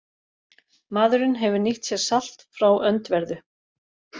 Maðurinn hefur nýtt sér salt frá öndverðu.